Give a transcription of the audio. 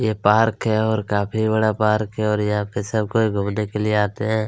एक पार्क है और काफ़ी बड़ा पार्क है और यहाँ पे सब कोई घुमने के लिए आते है।